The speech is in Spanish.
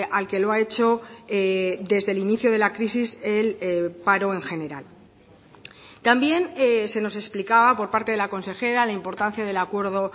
al que lo ha hecho desde el inicio de la crisis el paro en general también se nos explicaba por parte de la consejera la importancia del acuerdo